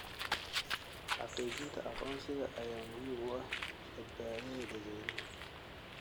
Xaqiijinta aqoonsiga ayaa muhiim u ah badbaadada dadweynaha.